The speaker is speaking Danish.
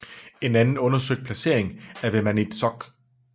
En anden undersøgt placering er ved Maniitsoq